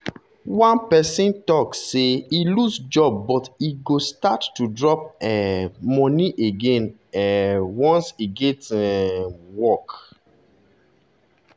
one person talk say e lose job but e go start to drop um money again um once e get um work.